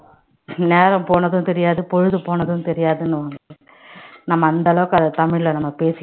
நேரம் போனதும் தெரியாது பொழுது போனதும் தெரியாதுன்னுவாங்க நம்ம அந்த அளவுக்கு அத தமிழ்ல நம்ம பேசி~